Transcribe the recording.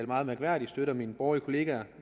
meget mærkværdigt støtter mine borgerlige kollegaer